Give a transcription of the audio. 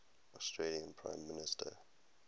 australian prime minister